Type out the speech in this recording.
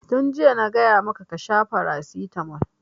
Tun jiya na gaya maka ka sha paracetamol!